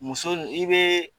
Muso nin i be